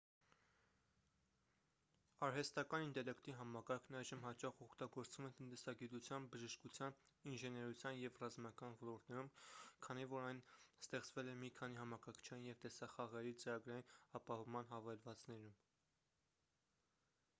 արհեստական ինտելեկտի համակարգն այժմ հաճախ օգտագործվում է տնտեսագիտության բժշկության ինժեներության և ռազմական ոլորտներում քանի որ այն ստեղծվել է մի քանի համակարգչային և տեսախաղերի ծրագրային ապահովման հավելվածներում